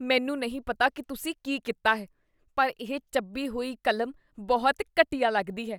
ਮੈਨੂੰ ਨਹੀਂ ਪਤਾ ਕੀ ਤੁਸੀਂ ਕੀ ਕੀਤਾ ਹੈ ਪਰ ਇਹ ਚੱਬੀ ਹੋਈ ਕਲਮ ਬਹੁਤ ਘਟੀਆ ਲੱਗਦੀ ਹੈ।